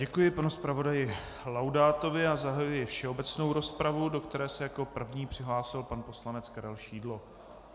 Děkuji panu zpravodaji Laudátovi a zahajuji všeobecnou rozpravu, do které se jako první přihlásil pan poslanec Karel Šídlo.